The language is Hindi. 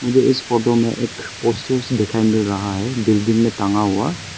मुझे इस फोटो में एक पोस्टर्स दिखाई मिल रहा है बिल्डिंग में टांगा हुआ।